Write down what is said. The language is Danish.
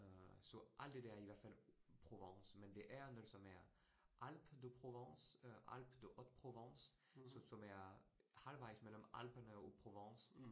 Øh så alt det der i hvert Provence, men det er noget, som er Alpes-de-Provence øh Alpes-de-haute-Provence, som er halvvejs mellem Alperne og Provence